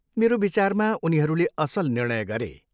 मेरो विचारमा उनीहरूले असल निर्णय गरे।